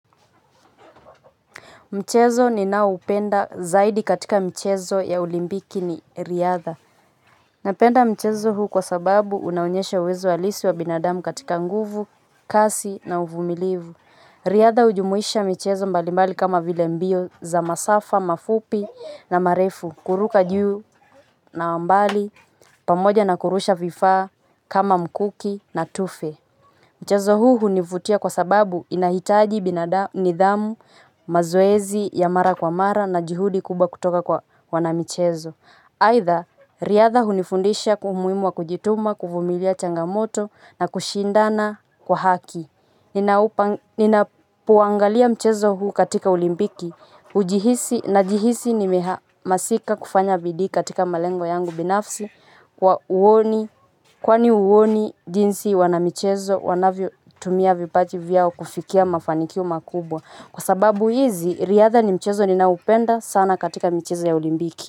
Mchezo ninaoupenda zaidi katika michezo ya olimpiki ni riadha. Napenda mchezo huu kwa sababu unaonyesha uwezo halisi wa binadamu katika nguvu, kasi na uvumilivu. Riadha hujumuisha michezo mbalimbali kama vile mbio za masafa mafupi na marefu. Kuruka juu na mbali, pamoja na kurusha vifaa kama mkuki na tufe. Mchezo huu hunivutia kwa sababu inahitaji, nidhamu, mazoezi ya mara kwa mara na juhudi kubwa kutoka kwa wanamichezo. Aidha, riadha hunifundisha umuhimu wa kujituma, kuvumilia changamoto na kushindana kwa haki. Ninapoangalia mchezo huu katika olimpiki najihisi nimehamasika kufanya bidii katika malengo yangu binafsi. Kwa huo ni, jinsi wanamichezo wanavyotumia vipaji vyao kufikia mafanikio makubwa. Kwa sababu hizi, riadha ni mchezo ninaoupenda sana katika michezo ya olimpiki.